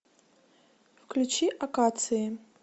включи акации